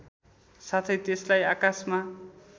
साथै त्यसलाई आकाशमा